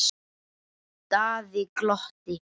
Daði glotti.